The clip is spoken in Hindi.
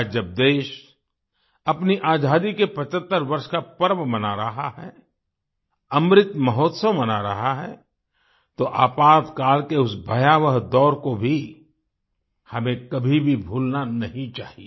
आज जब देश अपनी आज़ादी के 75 वर्ष का पर्व मना रहा है अमृत महोत्सव मना रहा है तो आपातकाल के उस भयावह दौर को भी हमें कभी भी भूलना नहीं चाहिए